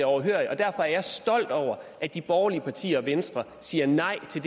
overhørig og derfor er jeg stolt over at de borgerlige partier og venstre siger nej til